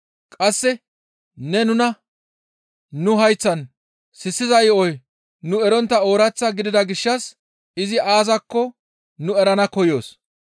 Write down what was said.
Qasse ne nuna nu hayththan sissiza yo7oy nu erontta oorath gidida gishshas izi aazakko nu erana koyoos.